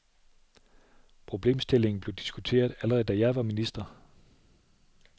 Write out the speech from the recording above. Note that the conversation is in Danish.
Problemstillingen blev diskuteret, allerede da jeg var minister.